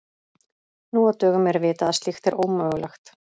Nú á dögum er vitað að slíkt er ómögulegt.